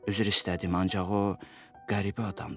Üzr istədim, ancaq o qəribə adamdır.